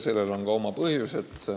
Sellel on ka oma põhjused.